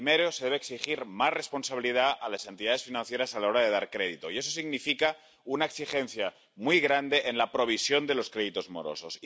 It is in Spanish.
El primero es que se debe exigir más responsabilidad a las entidades financieras a la hora de dar crédito, y eso significa una exigencia muy grande en la provisión de los créditos morosos.